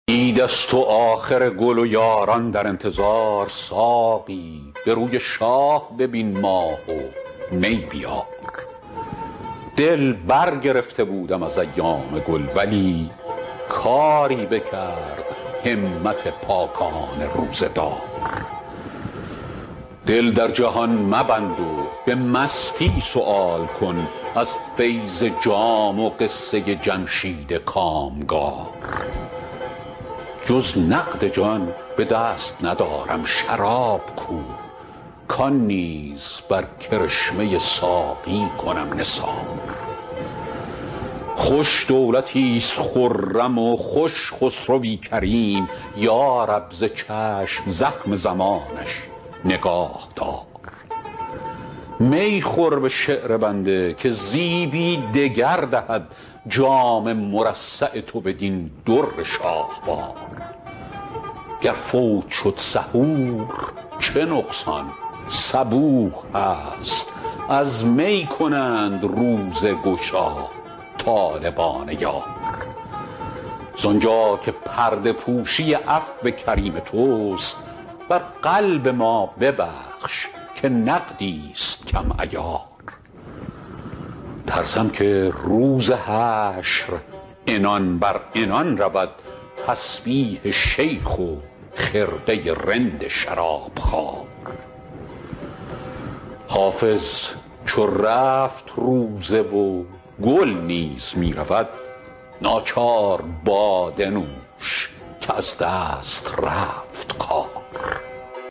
عید است و آخر گل و یاران در انتظار ساقی به روی شاه ببین ماه و می بیار دل برگرفته بودم از ایام گل ولی کاری بکرد همت پاکان روزه دار دل در جهان مبند و به مستی سؤال کن از فیض جام و قصه جمشید کامگار جز نقد جان به دست ندارم شراب کو کان نیز بر کرشمه ساقی کنم نثار خوش دولتیست خرم و خوش خسروی کریم یا رب ز چشم زخم زمانش نگاه دار می خور به شعر بنده که زیبی دگر دهد جام مرصع تو بدین در شاهوار گر فوت شد سحور چه نقصان صبوح هست از می کنند روزه گشا طالبان یار زانجا که پرده پوشی عفو کریم توست بر قلب ما ببخش که نقدیست کم عیار ترسم که روز حشر عنان بر عنان رود تسبیح شیخ و خرقه رند شرابخوار حافظ چو رفت روزه و گل نیز می رود ناچار باده نوش که از دست رفت کار